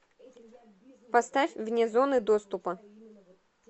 поставь вне зоны доступа